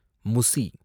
முசி